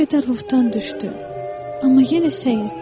O bir qədər ruhdan düşdü, amma yenə sədidi.